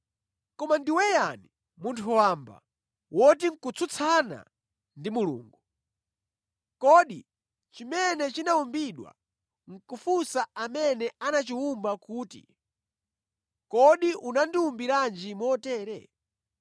Koma ndiwe yani, munthu wamba, woti nʼkutsutsana ndi Mulungu? “Kodi chimene chinawumbidwa nʼkufunsa amene anachiwumba kuti, ‘Kodi unandiwumbiranji motere?’ ”